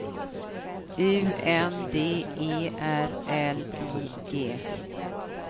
U N D E R L I G